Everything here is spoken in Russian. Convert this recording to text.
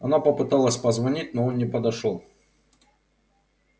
она попыталась позвонить но он не подошёл